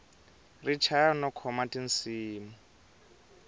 ri chaya no khoma tinsimu